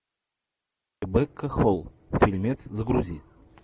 ребекка холл фильмец загрузи